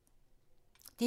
DR2